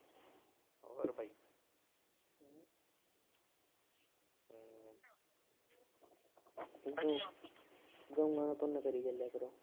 ਗਊ ਦਾ ਪੁੰਨ ਕਰੀ ਚਲਿਆ ਕਰੋ।